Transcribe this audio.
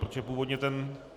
Protože původně ten...